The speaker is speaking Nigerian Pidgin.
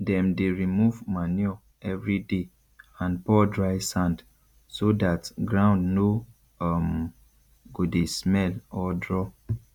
dem dey remove manure every day and pour dry sand so dat ground no um go dey smell or draw